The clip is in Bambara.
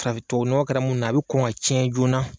Faraf tuwawu nɔgɔ kɛra mun na a bɛ kɔn ŋa tiɲɛ joona